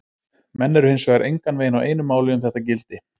Menn eru hins vegar engan veginn á einu máli um þetta gildi.